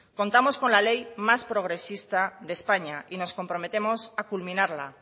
contamos con la ley más progresista de españa y nos comprometemos a culminarla